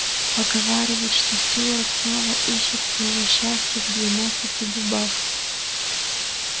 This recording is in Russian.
поговаривают что стюарт снова ищет своего счастья в двенадцати дубах